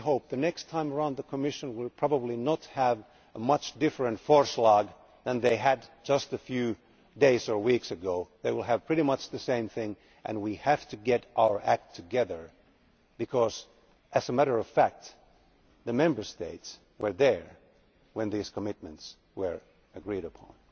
The next time round the Commission will probably have a proposal not much different from the one they had just a few days or weeks ago. They will have pretty much the same thing, and we have to get our act together because, as a matter of fact, the Member States were there when these commitments were agreed upon.